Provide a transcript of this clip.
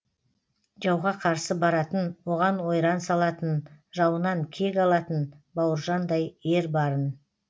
жауға қарсы баратын оған ойран салатын жауынан кек алатын бауыржандай ер барын